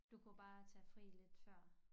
Du kunne bare tage fri lidt før